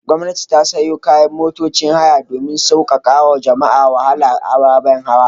Gwamnati ta sayo motocin haya domin sauƙaƙawa jama'a wahalar ababen hawa.